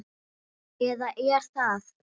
Eða er það?